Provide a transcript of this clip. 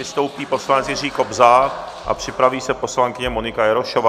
Vystoupí poslanec Jiří Kobza a připraví se poslankyně Monika Jarošová.